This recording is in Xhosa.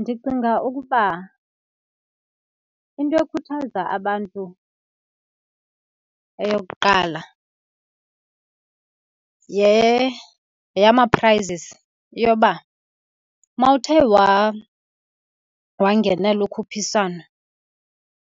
Ndicinga ukuba into ekhuthaza abantu eyokuqala yeyama-prizes, yoba mawuthe wangenela ukhuphiswano